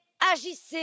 Agissez!